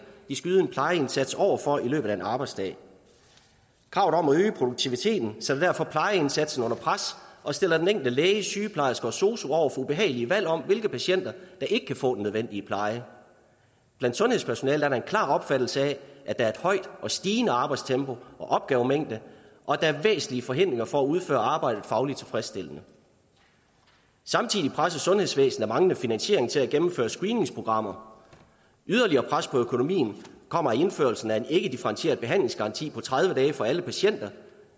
de skal yde en plejeindsats over for i løbet af en arbejdsdag kravet om at øge produktiviteten sætter derfor plejeindsatsen under pres og stiller den enkelte læge sygeplejerske og sosu over for ubehagelige valg om hvilke patienter der ikke kan få den nødvendige pleje blandt sundhedspersonalet er der en klar opfattelse af at der er et højt og stigende arbejdstempo og opgavemængde og at der er væsentlige forhindringer for at udføre arbejdet fagligt tilfredsstillende samtidig presses sundhedsvæsenet af manglende finansiering til at gennemføre screeningsprogrammer yderligere pres på økonomien kommer af indførelsen af en ikkedifferentieret behandlingsgaranti på tredive dage for alle patienter